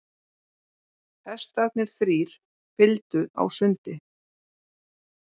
Hestarnir þrír fylgdu á sundi.